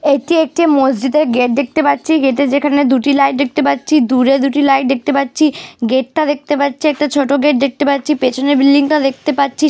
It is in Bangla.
এটি একটি মসজিদের গেট দেখতে পাচ্ছি গেটে যেখানে দুটি লাইট দেখতে পাচ্ছি দূরে দুটি লাইট দেখতে পাচ্ছি গেট - টা দেখতে পাচ্ছে একটা ছোট গেট দেখতে পাচ্ছি পেছনের বিল্ডিং - টা দেখতে পাচ্ছি।